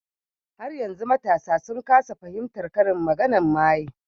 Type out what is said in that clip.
Har yanzu matasa sun kasa fahimtar karin maganar mayen